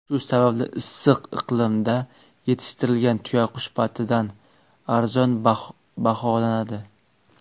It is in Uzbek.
Shu sababli issiq iqlimda yetishtirilgan tuyaqush patidan arzon baholanadi.